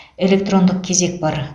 электрондық кезек бар